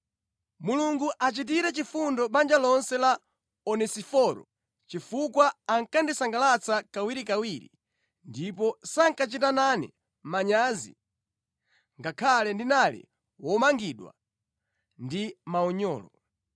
Mulungu achitire chifundo banja lonse la Onesiforo chifukwa ankandisangalatsa kawirikawiri ndipo sankachita nane manyazi ngakhale ndinali womangidwa ndi maunyolo.